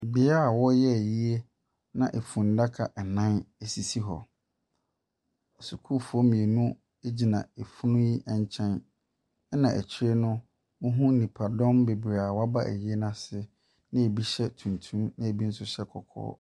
Bea a wɔreyɛ ayie na finnaka nnan sisis hɔ. Sukuufoɔ mmienu gyina funu yi nkyɛn, ɛna akyire no, wohunu nipadɔm bebree a wɔaba ayie no ase, na ɛbi hyɛ tuntum, na ɛbi nso hyɛ kɔkɔɔ.